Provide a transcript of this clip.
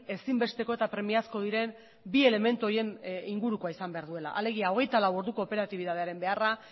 ezinbesteko eta premiazko diren bi elementu horien ingurukoa izan behar duela alegia hogeita lau orduko operatibitatearen beharra